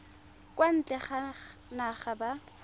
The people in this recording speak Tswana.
kwa ntle ga naga ba